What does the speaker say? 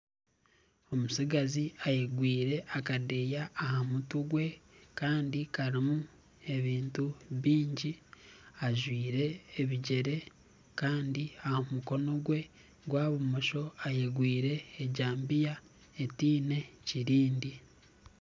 Omutsigazi ayegwire akadeeya aha mutwe gwe kandi karimu ebintu bingi ajwaire ebigyere kandi aha mukono gwe gwa bumosho ayegwire ejabiya etaine kirindi.